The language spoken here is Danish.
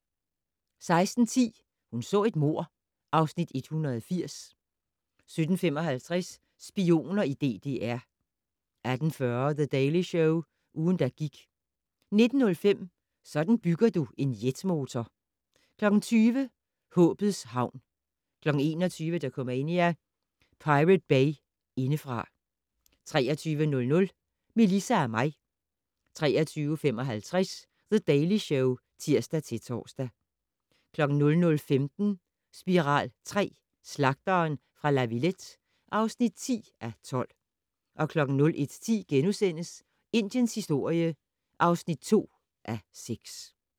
16:10: Hun så et mord (Afs. 180) 17:55: Spioner i DDR 18:40: The Daily Show - ugen, der gik 19:05: Sådan bygger du en jetmotor 20:00: Håbets havn 21:00: Dokumania: Pirate Bay indefra 23:00: Melissa og mig 23:55: The Daily Show (tir-tor) 00:15: Spiral III: Slagteren fra La Villette (10:12) 01:10: Indiens historie (2:6)*